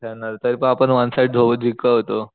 खेळणारे तरी पण आपण वन साइड धो जिकवतो